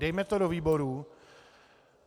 Dejme to do výboru.